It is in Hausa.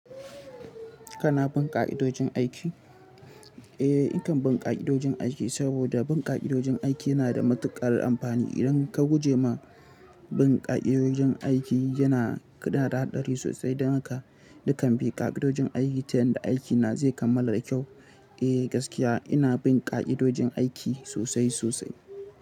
Kana bin ƙa'idojin aiki? Eh, nakan bin ƙa'idojin aiki saboda bin ƙa'idojin aiki yana da matuƙar amfani. Idan ka guje ma bin ƙa'idojin aiki, yana da haɗari sosai don haka dukan bin ƙa'idojin aiki ta yadda aiki na zai kammala da kyau. Eh gaskiya, ina bin ƙa'idojin aiki sosai sosai.